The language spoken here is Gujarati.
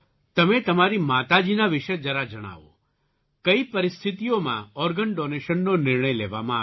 તમે તમારી માતાજીના વિશે જરા જણાવો કઈ પરિસ્થિતિઓમાં ઑર્ગન ડૉનેશનનો નિર્ણય લેવામાં આવ્યો